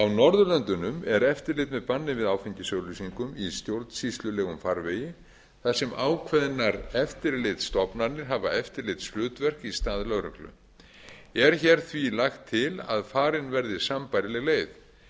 norðurlöndunum er eftirlit með banni við áfengisauglýsingum í stjórnsýslulegum farvegi þar sem ákveðnar eftirlitsstofnanir hafa eftirlitshlutverk í stað lögreglu er hér því lagt til að farin verði sambærileg leið